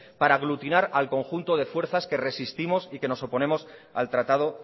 para aglutinar al conjunto de fuerzas que resistimos y que nos oponemos al tratado